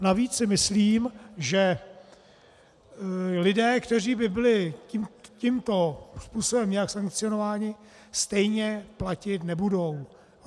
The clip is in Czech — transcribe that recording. Navíc si myslím, že lidé, kteří by byli tímto způsobem nějak sankcionováni, stejně platit nebudou.